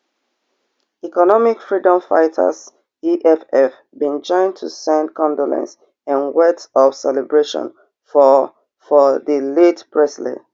economic freedom fighters eff bin join to send condolence and words of celebration for for di late presley